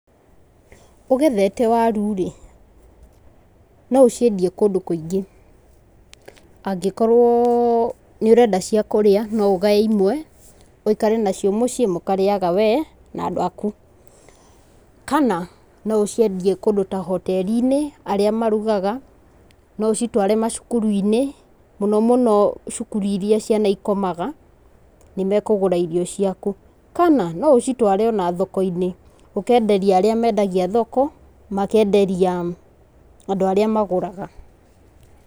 Ũgethete waru rĩ no ũciendie kũndũ kũingĩ, angĩkorwo nĩũrenda cia kũrĩa no ũgaye imwe wĩkare nacio mũciĩ mũkarĩyage we na andũ aku kana no ũciendie kũndũ ta hoteri-inĩ arĩa marugaga, no ũcitware macukuru-inĩ mũno mũno cukuru ĩrĩa ciana cikomaga nĩmekũgũra irio ciaku, kana no ũcitware ona thoko-inĩ ũkenderia arĩa mendagia thoko makenderia andũ arĩa magũraga.